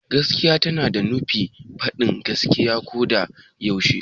Gaskiya tana nufin faɗin gaskiya ko da yaushe.